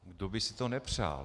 Kdo by si to nepřál?